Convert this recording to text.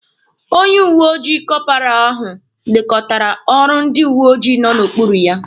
Onye uweojii kọparal ahụ lekọtara ọrụ ndị uweojii nọ n'okpuru ya.